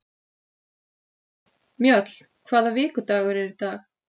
Mjöll, hvaða vikudagur er í dag?